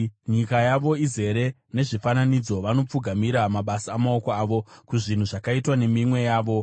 Nyika yavo izere nezvifananidzo; vanopfugamira mabasa amaoko avo, kuzvinhu zvakaitwa neminwe yavo.